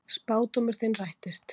Spádómur þinn rættist.